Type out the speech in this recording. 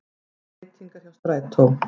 Breytingar hjá strætó